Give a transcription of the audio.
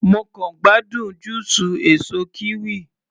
Mo kàn gbádùn júùsù èsó kiwi.